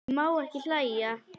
Ég má ekki hlæja.